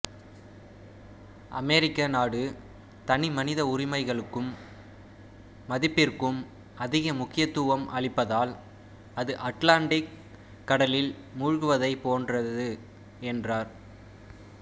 அமொிக்க நாடு தனிமனித உரிமைகளுக்கும் மதிப்பிற்கும் அதிக முக்கியத்துவம் அளிப்பதால் அது அட்லாண்டிக் கடலில் மூழ்குவதைப் போன்றது என்றாா்